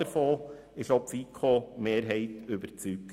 Davon ist auch die FiKo-Mehrheit überzeugt.